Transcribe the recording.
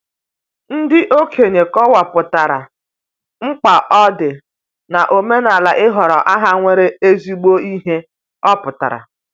Ndị okenye kọwapụtara, mkpa ọ dị n'omenala ịhọrọ aha nwere ezigbo ihe ọpụtara.